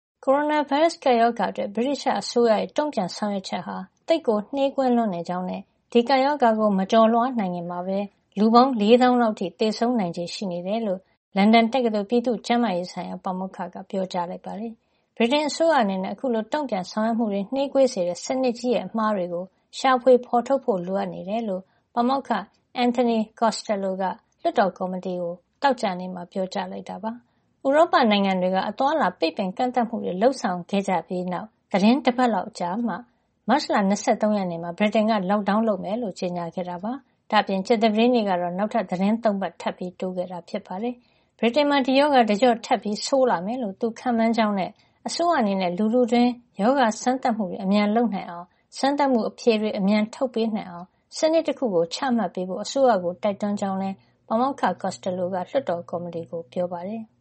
ကိုရိုနာဗိုင်းရပ်စ် ကပ်ရောဂါအတွက် ဗြိတိသျှ အစိုးရရဲ့ တုံ့ပြန်ဆောင်ရွက်ချက်ဟာ သိပ်ကို နှေးကွေးလွန်းနေကြောင်းနဲ့ ဒီကပ်ရောဂါကို မကျော်လွှား နိုင်ခင်မှာပဲ လူပေါင်း ၄ သောင်းလောက် အထိ သေဆုံးနိုင်ချေ ရှိနေတယ်လို့ လန်ဒန်တက္ကသိုလ် ပြည်သူ့ကျန်းမာရေး ဆိုင်ရာ ပါမောက္ခ က ပြောကြားလိုက်ပါတယ်။ ဗြိတိန်အစိုးရ အနေနဲ့ အခုလို တုံ့ပြန်ဆောင်ရွက်မှုတွေ နှေးကွေးစေတဲ့ စနစ်ကြီးရဲ့ အမှားတွေကို ရှာဖွေဖေါ်ထုတ်ဖို့ လိုအပ်နေတယ်လို့ ပါမောက္ခ Anthony Costello က လွှတ်တော်ကော်မတီကို သောကြာနေ့မှာ ပြောကြားလိုက်တာပါ။ ဥရောပ နိုင်ငံတွေက အသွားအလာ ပိတ်ပင်ကန့်သတ်မှုတွေ လုပ်ဆောင်ခဲ့ကြတဲ့နောက် သီတင်းတပတ်လောက်ကြာမှ မတ်လ ၂၃ ရက်နေ့မှာ ဗြိတိန်က lockdown လုပ်မယ်လို့ ကြေညာခဲ့တာပါ။ ဒါ့အပြင် ကြာသပတေးနေ့ကတော့ နောက်ထပ် သီတင်း ၃ ပတ် ထပ်တိုးခဲ့တာ ဖြစ်ပါတယ်။ ဗြိတိန်နိုင်ငံမှာ ဒီရောဂါ တကျော့ထပ်ဆိုးလာမယ်လို့ သူခန့်မှန်းကြောင်းနဲ့ အစိုးရ အနေနဲ့ လူထုတွင်း ရောဂါစမ်းသပ်မှုတွေ အမြန်လုပ်နိုင်အောင်နဲ့ စမ်းသပ်မှုအဖြေတွေ အမြန်ထုတ်ပေးနိုင်အောင် စနစ်တခုကို ချမှတ်ပေးဖို့ အစိုးရကို တိုက်တွန်းကြောင်းလည်း ပါမောက္ခ Costello က လွှတ်တော် ကော်မတီကို ပြောပါတယ်။